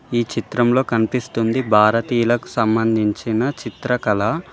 ఈ చిత్రంలో కనిపిస్తుంది భారతీయులకు సంబంధించిన చిత్రకళ.